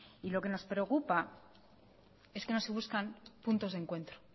y lo que nos preocupa es que no se buscan puntos de encuentro